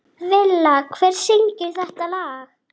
Villa, hver syngur þetta lag?